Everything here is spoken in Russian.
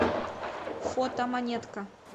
фото монетка